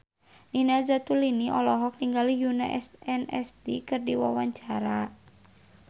Nina Zatulini olohok ningali Yoona SNSD keur diwawancara